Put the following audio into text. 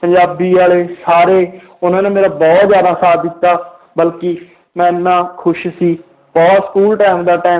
ਪੰਜਾਬੀ ਵਾਲੇ ਸਾਰੇ ਉਹਨਾਂ ਨੇ ਮੇਰਾ ਬਹੁਤ ਜ਼ਿਆਦਾ ਸਾਥ ਦਿੱਤਾ ਬਲਕਿ ਮੈਂ ਇੰਨਾ ਖ਼ੁਸ਼ ਸੀ ਉਹ school time ਦਾ time